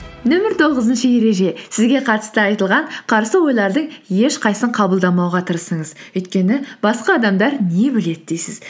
нөмір тоғызыншы ереже сізге қатысты айтылған қарсы ойлардың ешқайсысын қабылдамауға тырысыңыз өйткені басқа адамдар не біледі дейсіз